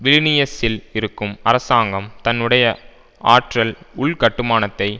விலினியசில் இருக்கும் அரசாங்கம் தன்னுடைய ஆற்றல் உள்கட்டுமானத்தை